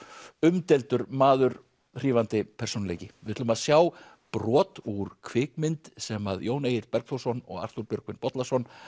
umdeildur maður hrífandi persónuleiki við ætlum að sjá brot úr kvikmynd sem Jón Egill Bergþórsson og Arthúr Björgvin Bollason